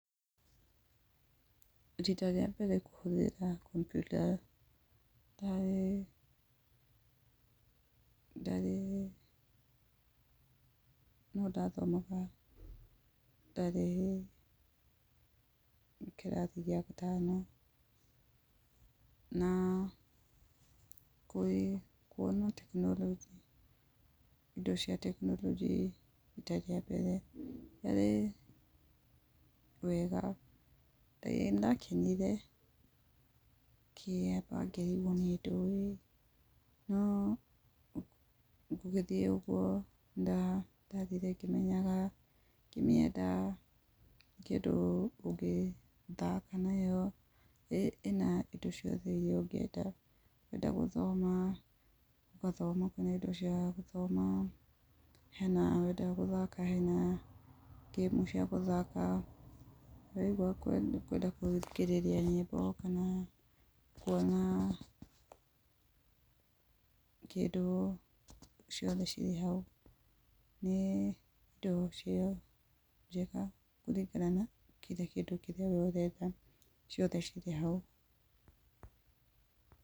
Rita rĩa mbere kũhũthĩra kompyuta, ndarĩ, ndarĩ, no ndathomaga, ndarĩ kĩrathi gĩa gatano, na kwona tekinoronjĩ, indo cia tekinoronjĩ rita mbere, rĩarĩ wega. Ĩĩ nĩndakenire, na ngĩrigwo nĩ ndũĩ, no gũgĩthiĩ ũguo, nĩndathire ngĩmenyaga ngĩmiendaga, kĩndũ ũngĩthaka nayo, ĩna indo ciothe iria ĩngĩenda, wenda gũthoma, ũgathoma kana indo cia gũthoma. Wenda gũthaka hena ngĩmu cia gũthaka, waigwa nĩ ũkwenda gũthikĩrĩria nyĩmbo kana kuona kĩndũ, ciothe ciĩhau. Nĩ indo cia njega kũringana na kĩndũ kĩrĩa we ũkwenda, ciothe cirĩho.